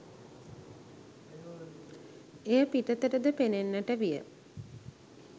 එය පිටතටද පෙනෙන්නට විය